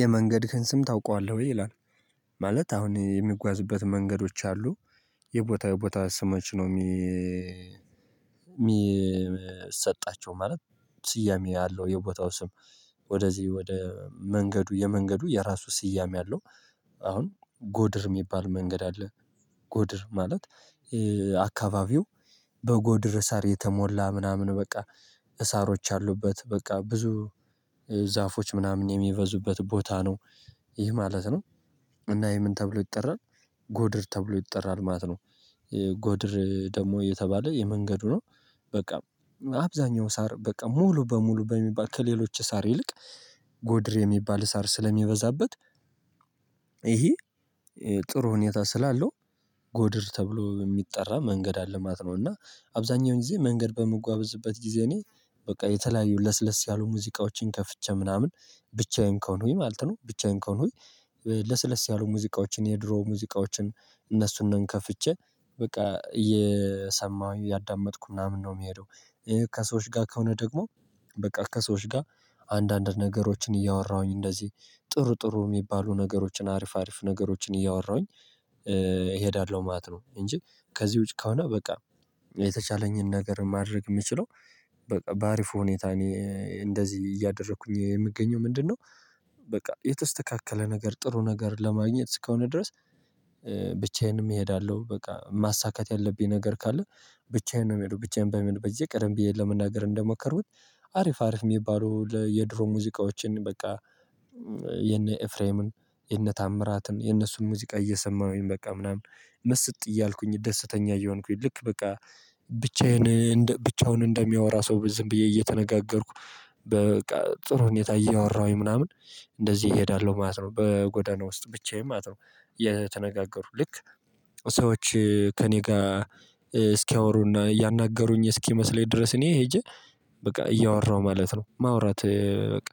የመንገድህን ስም ታውቃለህ ወይ ይላል? ማለት አሁን የሚጓዝበት መንገዶች አሉ። የቦታ የቦታ ስሞች ነው እሚሰጣቸው ማለት ስያሜ ያለው የቦታው ስም። ወደዚህ ወደ መንገዱ የመንገዱ የራሱ ስያሜ አለው። አሁን ጎድር እሚባል መንገድ አለ። ጎድር ማለት አካባቢው በጎድር ሳር የተሞላ ምናምን በቃ። ሳሮች አሉበት በቃ ብዙ ዛፎች ምናምን የሚበዙበት ቦታ ነው። ይህ ማለት ነው። እና ይኸ ምን ተብሎ ይጠራል? ጎድር ተብሎ ይጠራል ማለት ነው። ጎድር ደግሞ የተባለ የመንገዱ ነው። በቃ አብዛኛው ሳር በቃ ሙሉ በሙሉ በሚባል ከሌሎች ሳር ይልቅ ጎድር የሚባል ሳር ስለሚበዛበት። ይሄ ጥሩ ሁኔታ ስላለው። ጎድር ተብሎ እሚጠራ መንገድ አለ ማለት ነው። እና አብዛኛውን ጊዜ መንገድ በምጓዝበት ጊዜ እኔ በቃ የተለያዩ ለስለስ ያሉ ሙዚቃዎችን ከፍቼ ምናምን ብቻዬን ከሆንኩኝ ማለት ነው። ብቻዬን ከሆንኩኝ ለስለስ ያሉ ሙዚቃዎችን የድሮ ሙዚቃዎችን እነሱን ነን ከፍቼ በቃ እየሰማሁ እያዳመጥኩ ምናምን ነው እምሄደው። ከሰዎች ጋር ከሆነ ደግሞ በቃ ከሰዎች ጋር አንዳንድ ነገሮችን እያወራሁኝ እንደዚህ ጥሩ ጥሩ እሚባሉ ነገሮችን አሪፍ አሪፍ ነገሮችን እያወራሁኝ እሄዳለሁ ማለት ነው። እንጂ ከዚህ ውጪ ከሆነ በቃ የተቻለኝን ነገር ማድረግ እምችለው። በቃ በአሪፉ ሁኔታ እኔ እንደዚህ እያደረኩኝ የምገኘው ምንድነው በቃ የተስተካከለ ነገር ጥሩ ነገር ለማግኘት እስከሆነ ድረስ። ብቻዬንም እሄዳለሁ በቃ ማሳካት ያለብኝ ነገር ካለ ብቻዬን ነው እምሄደው ብቻዬን በሚለው በየቀደም ብዬ ለመናገር እንደሞከርኩት። አሪፍ አሪፍ እሚባለው የድሮ ሙዚቃዎችን በቃ የነ ኤፍሬምን የነ ታምራትን የነሱን ሙዚቃ እየሰማሁኝ በቃ ምናምን ምስጥ እያልኩኝ ደስተኛ እየሆንኩኝ ልክ በቃ ብቻዬን ብቻውን እንደሚያወራ ሰው ዝም ብዬ እየተነጋገርኩ። በቃ ጥሩ ሁኔታ እያወራሁኝ ምናምን እንደዚህ እሄዳለሁ ማለት ነው። በጎዳና ውስጥ ብቻዬን ማለት ነው። እየተነጋገርኩ ልክ ሰዎች ከእኔ ጋር እስኪያወሩና እያናገሩኝ እስኪመስለኝ ድረስ እኔ ሄጄ በቃ እያወራሁ ማለት ነው። ማውራት በቃ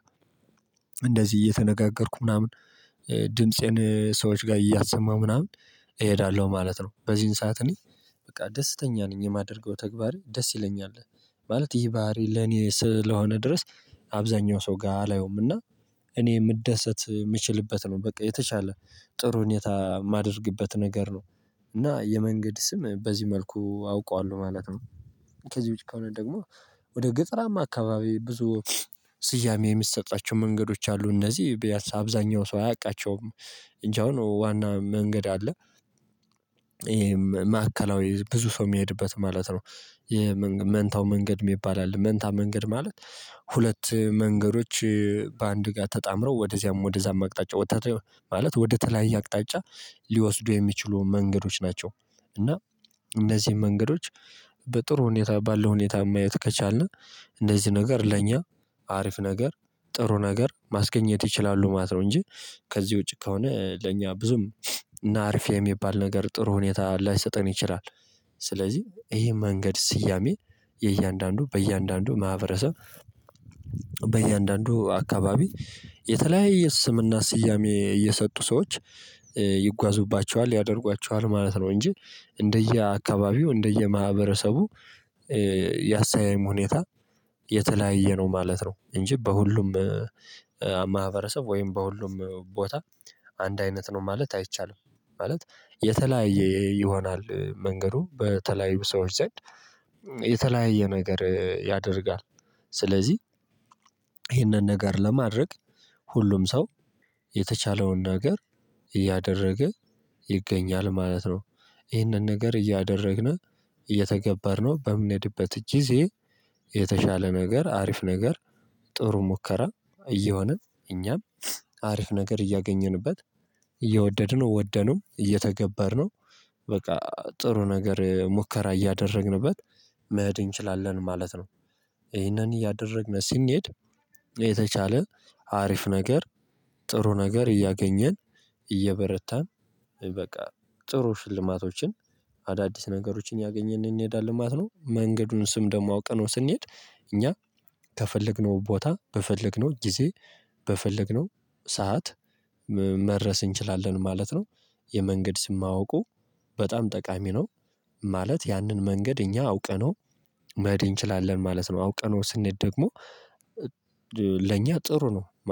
እንደዚህ እየተነጋገርኩ ምናምን ድምፄን ሰዎች ጋር እያሰማው ምናምን እሄዳለሁ ማለት ነው። በዚህን ሰዓት እኔ በቃ ደስተኛ ነኝ የማደርገው ተግባር ደስ ይለኛል። ማለት ይህ ባህሪ ለኔ ስለሆነ ድረስ። አብዛኛው ሰው ጋር አላየውም እና እኔ እምደሰት እምችልበት ነው በቃ የተሻለ ጥሩ ሁኔታ እማደርግበት ነገር ነው። እና የመንገድ ስም በዚህ መልኩ አውቀዋለሁ ማለት ነው። ከዚህ ውጭ ከሆነ ደግሞ ወደ ገጠራማ አካባቢ ብዙ ስያሜ የሚሰጣቸው መንገዶች አሉ እነዚህ ቢያንስ አብዛኛው ሰው አያውቃቸውም። እንጅ አሁን ዋና መንገድ አለ ይሄ ማዕከላዊ ብዙ ሰው እሚሄድበት ማለት ነው። መንታው መንገድ እሚባል አለ መንታ መንገድ ማለት ሁለት መንገዶች በአንድ ጋር ተጣምረው ወደዚያም ወደዛም አቅጣጫ ወደተለየ ማለት ወደተለያየ አቅጣጫ ሊወስዱ የሚችሉ መንገዶች ናቸው። እና እነዚህን መንገዶች በጥሩ ሁኔታ ባለው ሁኔታ ማየት ከቻልን እነዚህ ነገር ለኛ አሪፍ ነገር ጥሩ ነገር ማስገኘት ይችላሉ ማለት ነው። እንጂ ከዚህ ውጪ ከሆነ ለኛ ብዙም ናርፊ እሚባል ነገር ጥሩ ሁኔታ ላይሰጠን ይችላል። ስለዚህ ይሄ መንገድ ስያሜ የእያንዳንዱ በእያንዳንዱ ማህበረሰብ በእያንዳንዱ አካባቢ የተለያየ ስምና ስያሜ እየሰጡ ሰዎች ይጓዙባቸዋል ያደርጓቸዋል ማለት ነው። እንጂ እንደየ አካባቢው እንደየ ማህበረሰቡ ያሰያየም ሁኔታ የተለያየ ነው ማለት ነው። እንጂ በሁሉም ማህበረሰብ ወይም በሁሉም ቦታ አንድ አይነት ነው ማለት አይቻልም። ማለት የተለያየ ይሆናል መንገዱ በተለያዩ ሰዎች ዘንድ የተለያየ ነገር ያደርጋል። ስለዚህ ይህንን ነገር ለማድረግ ሁሉም ሰው የተቻለውን ነገር እያደረገ ይገኛል ማለት ነው። ይህንን ነገር እያደረግን እየተገበርነው በምንሄድበት ጊዜ የተሻለ ነገር አሪፍ ነገር ጥሩ ሙከራ እየሆነ እኛም አሪፍ ነገር እያገኘንበት እየወደድነው ወደነው እየተገበርነው በቃ ጥሩ ነገር ሙከራ እያደረግንበት መሄድ እንችላለን ማለት ነው። ይህንን እያደረግን ስንሄድ የተሻለ አሪፍ ነገር ጥሩ ነገር እያገኘን እየበረታን በቃ ጥሩ ሽልማቶችን አዳዲስ ነገሮችን ያገኘን እንሄዳለን ማለት ነው። መንገዱን ስም ደግሞ አውቅነው ስንሄድ እኛ ከፈለግነው ቦታ በፈለግነው ጊዜ በፈለግነው ሰዓት መድረስ እንችላለን ማለት ነው። የመንገድ ስም ማውቁ በጣም ጠቃሚ ነው። ማለት ያንን መንገድ እኛ አውቀነው መሄድ እንችላለን ማለት ነው። አውቀነው ስንሄድ ደግሞ ለእኛ ጥሩ ነው